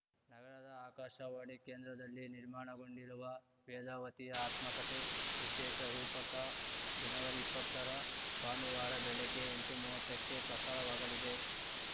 ನಗರದ ಆಕಾಶವಾಣಿ ಕೇಂದ್ರದಲ್ಲಿ ನಿರ್ಮಾಣಗೊಂಡಿರುವ ವೇದಾವತಿಯ ಆತ್ಮಕಥೆ ವಿಶೇಷ ರೂಪಕ ಜನವರಿಇಪ್ಪತ್ತರ ಭಾನುವಾರ ಬೆಳಿಗ್ಗೆ ಎಂಟುಮುವತ್ತಕ್ಕೆ ಪ್ರಸಾರವಾಗಲಿದೆ